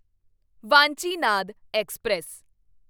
Vanchinad express